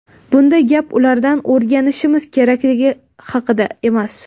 Bunda gap ulardan o‘rganishimiz kerakligi haqida emas.